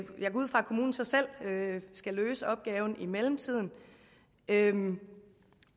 kommunen så selv skal løse opgaven i mellemtiden en